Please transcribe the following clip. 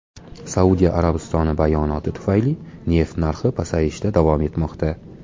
Saudiya Arabistoni bayonoti tufayli neft narxi pasayishda davom etmoqda.